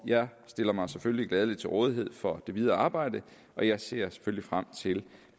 jeg stiller mig selvfølgelig gladeligt til rådighed for det videre arbejde og jeg ser selvfølgelig frem til